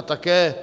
A také